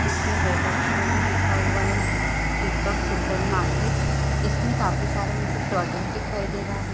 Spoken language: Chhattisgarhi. जिसमें रेड अक्षरों में लिखा हुआ है दीपक सुपर मार्केट इसमें काफी सारा मुझे प्रोडक्ट दिखाई दे रहा है।